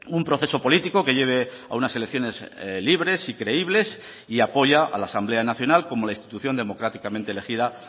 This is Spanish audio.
un proceso político que lleve a unas elecciones libres y creíbles y apoya a la asamblea nacional como la institución democráticamente elegida